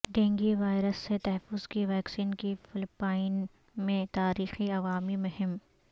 dengue virus سے تحفظ کی ویکسین کی فلپائن میں تاریخی عوامی مہم